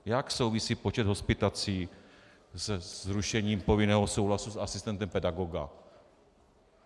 Jak souvisí počet hospitací se zrušením povinného souhlasu s asistentem pedagoga?